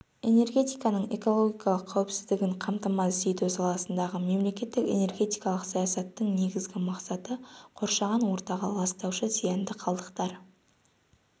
энергетиканың экологиялық қауіпсіздігін қамтамасыз ету саласындағы мемлекеттік энергетикалық саясаттың негізгі мақсаты қоршаған ортаға ластаушы зиянды қалдықтар